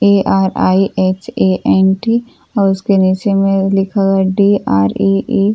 ARIHANT और उसके नीचे में लिखा हुआ है डी_आर_ई_ए ।